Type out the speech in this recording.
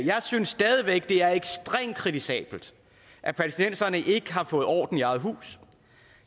jeg synes stadig væk at det er ekstremt kritisabelt at palæstinenserne ikke har fået orden i eget hus